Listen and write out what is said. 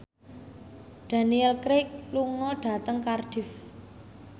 Daniel Craig lunga dhateng Cardiff